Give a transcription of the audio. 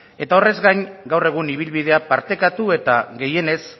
eta horrez gain gaur egun ibilbidea partekatu eta gehienez